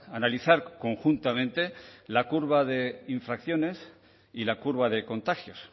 analizar conjuntamente la curva de infracciones y la curva de contagios